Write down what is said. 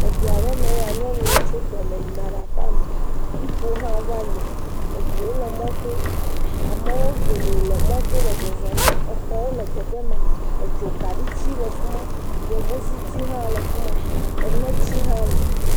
Du ame mea ya, nyɔnuwo tso tɔme yina ɖe aƒeme Ŋutsuwo hã va yina. Amewo le mɔ to. Amewo geɖe le mɔ to le zɔzɔm. Xɔwo le teƒe ma, dzokaɖitsi le fi ma, yevuziti hã le fi ma, eneti hã li.